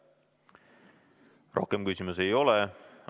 Rohkem küsimusi ei ole.